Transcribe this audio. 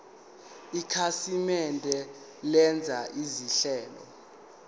ikhasimende lenza izinhlelo